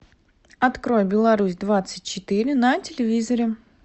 открой беларусь двадцать четыре на телевизоре